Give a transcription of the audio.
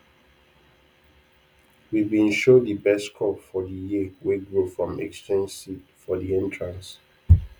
we bin show de best crop for de year wey grow from exchanged seed for de entrance